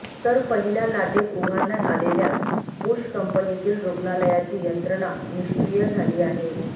तर पहिल्या लाटेत उभारण्यात आलेल्या बुश कंपनीतील रुग्णालयाची यंत्रणा निष्क्रिय झाली आहे